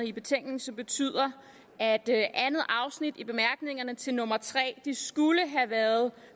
i betænkningen som betyder at andet afsnit i bemærkningerne til nummer tre skulle have været